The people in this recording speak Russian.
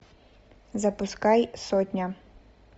запускай сотня